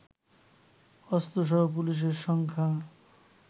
অস্ত্রসহ পুলিশের সংখ্যা